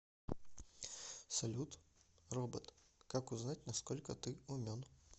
салют робот как узнать на сколько ты умен